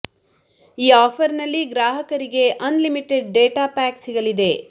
ಈ ಆಫರ್ ನಲ್ಲಿ ಗ್ರಾಹಕರಿಗೆ ಆನ್ ಲಿಮಿಟೆಡ್ ಡೇಟಾ ಪ್ಯಾಕ್ ಸಿಗಲಿದೆ